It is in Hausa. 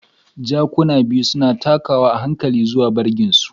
Jakuna biyu suna takawa a hankali zuwa bargin su.